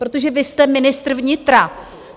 Protože vy jste ministr vnitra.